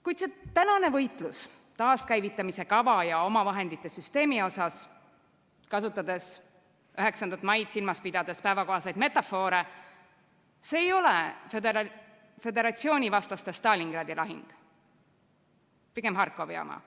Kuid see tänane võitlus taaskäivitamise kava ja omavahendite süsteemi üle, kasutades 9. maid silmas pidades päevakohaseid metafoore, ei ole föderatsioonivastaste Stalingradi lahing, pigem Harkovi oma.